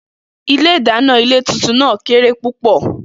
Ilé-ìdàná ilé tuntun náà kéré púpò̩